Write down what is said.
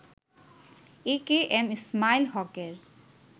এ K M Ismail হকের